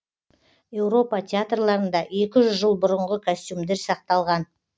еуропа театрларында екі жүз жыл бұрынғы костюмдер сақталған